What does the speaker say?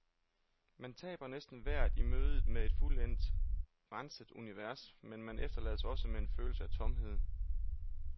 Man taber næsten vejret i mødet med et fuldendt, renset univers, men man efterlades også med en følelse af tomhed.